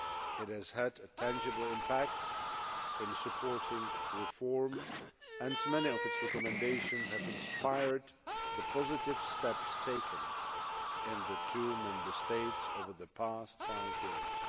It has had a tangible impact in supporting reform and many of its recommendations have inspired the positive steps taken in the two Member States over the past five years.